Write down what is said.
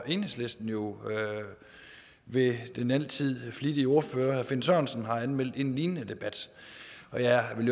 enhedslisten jo ved den altid flittige ordfører herre finn sørensen har anmeldt en lignende debat og jeg vil